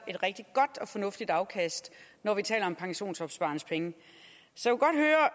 et rigtig godt og fornuftigt afkast når vi taler om pensionsopsparernes penge så